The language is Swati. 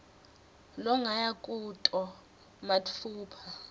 longaya kuto matfupha